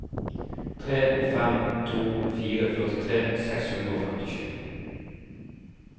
tre fem to fire førtitre seks hundre og femtisju